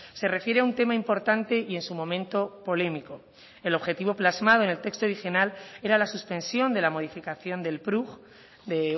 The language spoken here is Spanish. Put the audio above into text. se refiere a un tema importante y en su momento polémico el objetivo plasmado en el texto adicional era la suspensión de la modificación del prug de